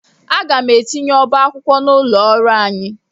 Aga m etinye ọba akwụkwọ n'ụlọ ọrụ anyị.